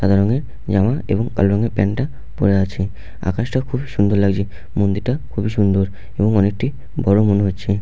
সাদা রঙের জামা এবং কালো রঙের প্যান্ট -টা পরে আছে |আকাশটা খুবই সুন্দর লাগছে মন্দিরটা খুবই সুন্দর এবং অনেকটি বড় মনে হচ্ছে।